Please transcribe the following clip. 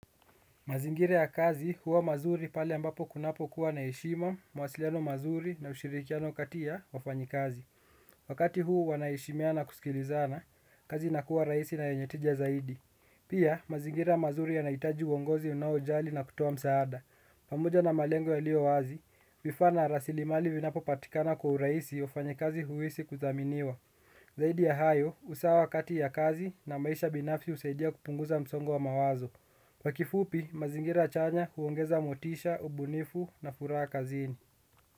Mazingira ya kazi huwa mazuri pale ambapo kunapokuwa na heshima, mawasiliano mazuri na ushirikiano kati ya wafanyikazi. Wakati huu wanaheshimiana na kusikilizana, kazi inakuwa rahisi na yenye tija zaidi. Pia, mazingira mazuri yanahitaji uongozi unaojali na kutoa msaada. Pamoja na malengo yaliyo wazi, vifaa na rasilimali vinapopatikana kwa urahisi wafanyikazi huhisi kuthaminiwa. Zaidi ya hayo, usawa kati ya kazi na maisha binafsi husaidia kupunguza msongo wa mawazo. Kwa kifupi, mazingira chanya huongeza motisha, ubunifu na furaha kazini.